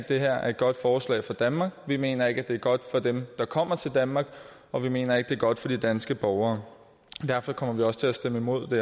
det her er et godt forslag for danmark vi mener ikke det er godt for dem der kommer til danmark og vi mener ikke det er godt for de danske borgere derfor kommer vi også til at stemme imod det